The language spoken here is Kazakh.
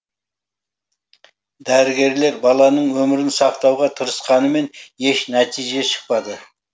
дәрігерлер баланың өмірін сақтауға тырысқанымен еш нәтиже шықпады